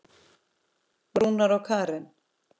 Rúnar og Karen.